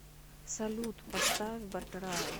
салют поставь батрай